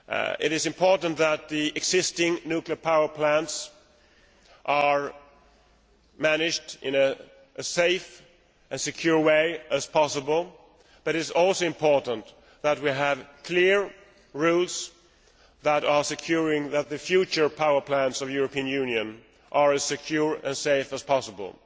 It is important that the existing nuclear power plants are managed in as safe and secure a way as possible, but it is also important that we have clear rules to ensure that the future power plants of the European Union are as secure and safe as possible.